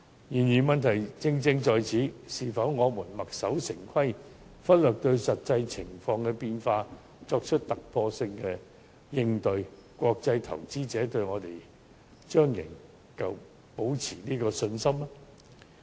然而，這正是問題所在：我們墨守成規，拒絕因應實際情況變化而作出突破性應對，國際投資者對我們還會保持信心嗎？